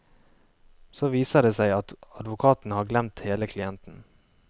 Så viser det seg at advokaten har glemt hele klienten.